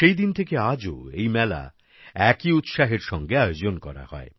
সেই দিন থেকে আজও এই মেলা একই উৎসাহের সঙ্গে আয়োজন করা হয়